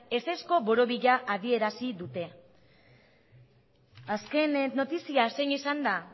ezezko borobila adierazi dute azken notizia zein izan da